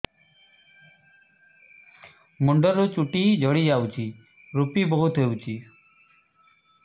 ମୁଣ୍ଡରୁ ଚୁଟି ଝଡି ଯାଉଛି ଋପି ବହୁତ ହେଉଛି